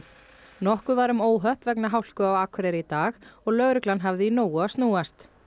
nokkuð var um óhöpp vegna hálku á Akureyri í dag og lögregla hafði í nógu að snúast